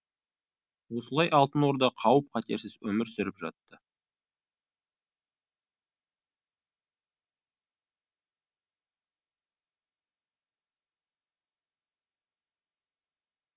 осылай алтын орда қауіп қатерсіз өмір сүріп жатты